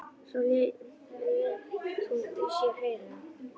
Svo lét hún í sér heyra.